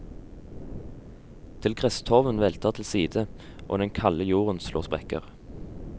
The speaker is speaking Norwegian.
Til gresstorven velter til side, og den kalde jorden slår sprekker.